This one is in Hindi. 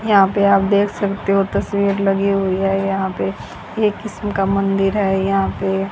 यहां पे आप देख सकते हो तस्वीर लगी हुई है यहां पे एक किसीम का मंदिर है यह पे--